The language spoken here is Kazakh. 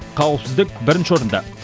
қауіпсіздік бірінші орында